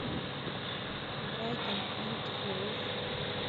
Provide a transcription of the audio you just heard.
брайтон энд хоув